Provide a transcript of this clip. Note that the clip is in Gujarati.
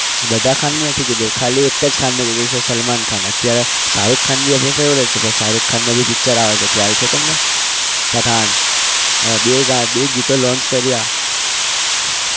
બધા ખાનનું નથી કીધું ખાલી એક જ ખાનને કીધું છે સલમાન ખાન અત્યારે શારુખ ખાન બી આપણો favourite છે. પણ શારુખ ખાનનું भीpicture આવે છે ખ્યાલ છે તમને પઠાણ હવે બે ગીતો launch કર્યા.